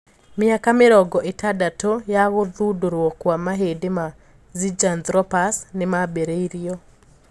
Miaka mĩrongo ĩtandatũ ya gũthundũruo kwa mahĩndĩ ma Zinjanthropus nĩmaambĩreirio